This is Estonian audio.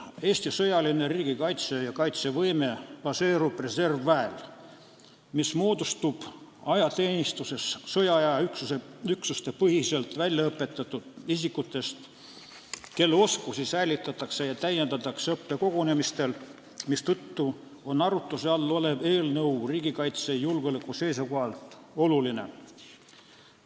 Eesti sõjaline riigikaitse ja kaitsevõime baseerub reservväel, mis moodustub ajateenistuses sõjaaja üksuste põhiselt välja õpetatud isikutest, kelle oskusi säilitatakse ja täiendatakse õppekogunemistel, mistõttu on arutuse all olev eelnõu riigikaitse ja julgeoleku seisukohalt oluline.